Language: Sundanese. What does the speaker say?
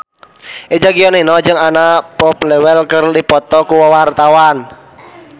Eza Gionino jeung Anna Popplewell keur dipoto ku wartawan